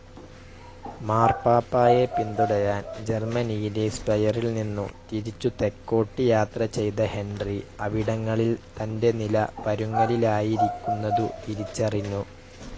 മാർപ്പാപ്പായെ പിന്തുടരാൻ ജർമ്മനിയിലെ സ്പെയറിൽ നിന്നു തിരിച്ചു തെക്കോട്ടു യാത്ര ചെയ്ത ഹെൻറി അവിടങ്ങളിൽ തന്റെ നില പരുങ്ങലിലായിരിക്കുന്നതു തിരിച്ചറിഞ്ഞു.